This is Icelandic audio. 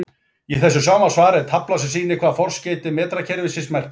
Í þessu sama svari er tafla sem sýnir hvað forskeyti metrakerfisins merkja.